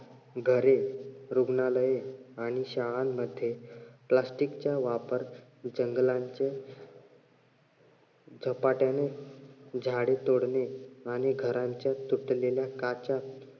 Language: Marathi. घरे, रुग्णालये आणि शाळांमध्ये Plastic चा वापर जंगलांचे झपाट्याने तोडणे आणि घरांच्या तुटलेल्या काचा